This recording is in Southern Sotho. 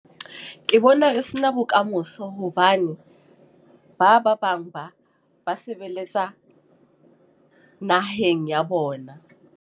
Ke Bona re se na bokamoso. Hobane ba ba bang ba, ba sebeletsa naheng ya bona.